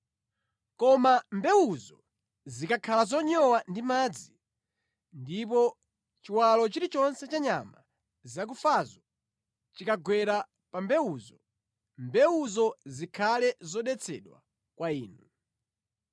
Koma mbewuzo zikakhala zonyowa ndi madzi, ndipo chiwalo chilichonse cha nyama zakufazo chikagwera pa mbewuzo, mbewuzo zikhale zodetsedwa kwa inu.